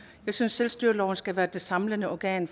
jeg synes selvstyreloven skal være det samlende organ